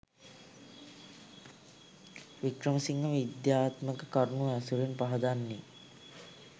වික්‍රමසිංහ විද්‍යාත්මක කරුණු ඇසුරින් පහදන්නේ.